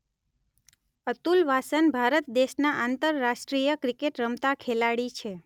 અતુલ વાસન ભારત દેશના આંતરરાષ્ટ્રીય ક્રિકેટ રમતા ખેલાડી છે